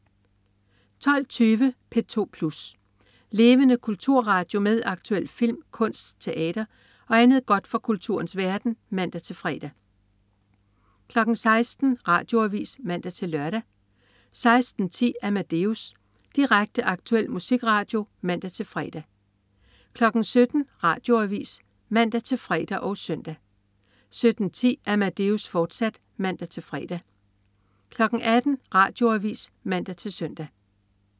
12.20 P2 Plus. Levende kulturradio med aktuel film, kunst, teater og andet godt fra kulturens verden (man-fre) 16.00 Radioavis (man-lør) 16.10 Amadeus. Direkte, aktuel musikradio (man-fre) 17.00 Radioavis (man-fre og søn) 17.10 Amadeus, fortsat (man-fre) 18.00 Radioavis (man-søn)